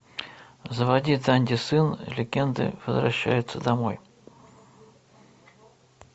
заводи данди сын легенды возвращается домой